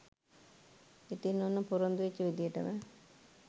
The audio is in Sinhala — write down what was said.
ඉතින් ඔන්න පොරොන්දු වෙච්ච විදියටම